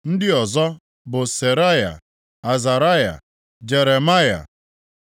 Ndị ọzọ bụ Seraya, Azaraya, Jeremaya,